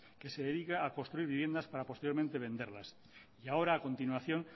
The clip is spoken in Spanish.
que se dedica a construir viviendas para posteriormente venderlas y ahora a continuación